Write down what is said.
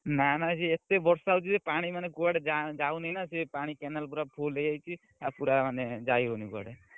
ନା ନା ସେ ଏତେ ବର୍ଷା ହଉଛି ଯେ ପାଣି ମାନେ କୁଆଡେ ଯାଉନି ନା ସେ ପାଣି canal ପୁରା ଫୁଲ ହେଇଯାଇଛି ଆଉ ପୁରା ମାନେ ଯାଇ ହଉନି କୁଆଡେ।